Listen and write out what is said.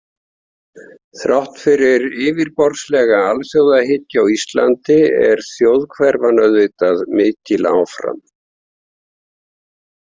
Þrátt fyrir yfirborðslega alþjóðahyggju á Íslandi er þjóðhverfan auðvitað mikil áfram.